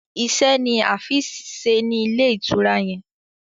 Ise ní Afeez ṣe ní Ilé-ìtura yén.